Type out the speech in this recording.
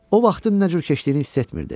O vaxtın nə cür keçdiyini hiss etmirdi.